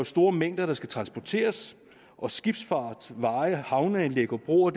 store mængder der skal transporteres og skibsfart veje havneanlæg og broer